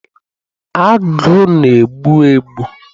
Agụ na-egbu egbu